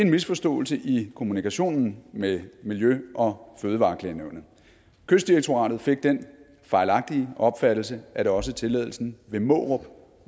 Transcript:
misforståelse i kommunikationen med miljø og fødevareklagenævnet kystdirektoratet fik den fejlagtige opfattelse at også tilladelsen ved mårup